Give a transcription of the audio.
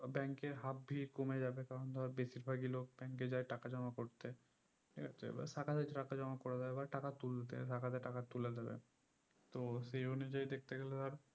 bank এ half ভিড় কমে যাবে কারণ ধর বেশির ভাগই লোক bank এ যাই টাকা জমা করতে ঠিকআছে এবার শাখাতে টাকা জমা করে দেবে but এবার টাকা তুলতে একহাতে টাকা তুলে দেবে তো সেই অনুযায়ী দেখতে গেলে ধর